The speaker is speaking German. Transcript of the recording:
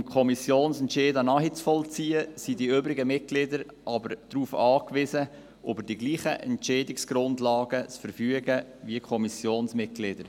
Um Kommissionsentscheide nachvollziehen zu können, sind die übrigen Fraktionsmitglieder jedoch darauf angewiesen, über dieselben Entscheidungsgrundlagen zu verfügen wie die Kommissionsmitglieder.